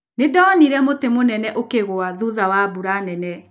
Nĩ ndonire mũtĩ mũnene ũkĩgwa thutha wa mbura nene.